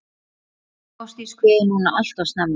Ástdís kveður núna alltof snemma.